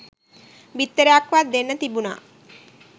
බිත්තරයක්වත් දෙන්න තිබුනා